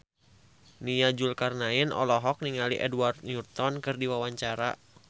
Nia Zulkarnaen olohok ningali Edward Norton keur diwawancara